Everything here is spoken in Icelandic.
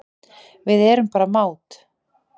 Við erum bara mát